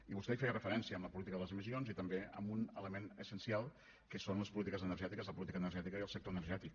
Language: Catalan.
i vostè hi feia referència amb la política de les emissions i també amb un element essencial que són les polítiques energètiques la política energètica i el sector energètic